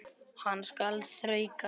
Hann skal þrauka.